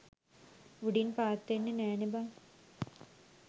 උඩින් පාත් වෙන්නෙ නෑනේ බං.